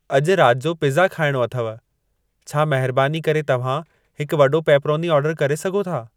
अॼु राति जो पिज़ा खाइणो अथव छा महिरबानी करे तव्हां हिकु वॾो पेपरोनी आर्डरु करे सघो था